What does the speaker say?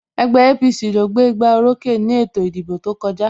Ẹgbẹ́ APC ló gbé gbá orókè ni ètò ìdìbò tó kọjá